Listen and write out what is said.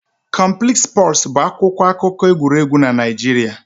Complete Sports' bụ akwụkwọ akụkọ egwuregwu na Naịjirịa